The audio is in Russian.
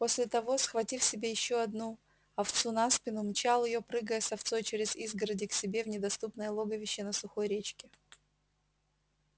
после того схватив себе ещё одну овцу на спину мчал её прыгая с овцой через изгороди к себе в недоступное логовище на сухой речке